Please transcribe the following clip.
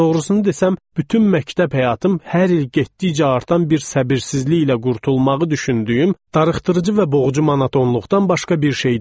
Doğrusunu desəm, bütün məktəb həyatım hər il getdikcə artan bir səbirsizliklə qurtulmağı düşündüyüm darıxdırıcı və boğucu monotonluqdan başqa bir şey deyildi.